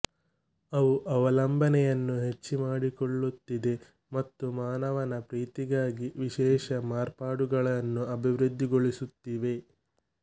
ಅವು ಅವಲಂಬನೆಯನ್ನು ಹೆಚ್ಚು ಮಾಡಿಕೊಳ್ಳುತ್ತಿವೆ ಮತ್ತು ಮಾನವನ ಪ್ರೀತಿಗಾಗಿ ವಿಶೇಷ ಮಾರ್ಪಾಡುಗಳನ್ನು ಅಭಿವೃದ್ಧಿಗೊಳಿಸುತ್ತಿವೆ